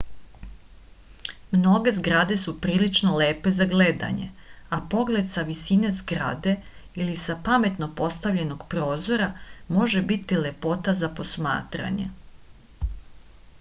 mnoge zgrade su prilično lepe za gledanje a pogled sa visoke zgrade ili sa pametno postavljenog prozora može biti lepota za posmaranje